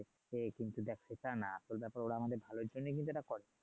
হ্যাঁ দেখ কিন্তু সেটা না আসল ব্যাপার ওরা কিন্তু আমাদের ভালোর জন্যই কিন্তু এটা করছে